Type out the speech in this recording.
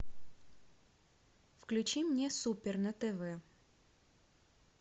включи мне супер на тв